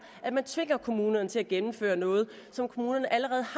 at man skal tvinge kommunerne til at gennemføre noget som kommunerne allerede